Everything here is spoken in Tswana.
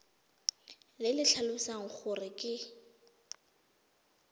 le le tlhalosang gore ke